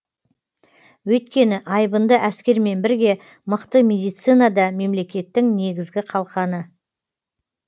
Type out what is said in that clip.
өйткені айбынды әскермен бірге мықты медицина да мемлекеттің негізгі қалқаны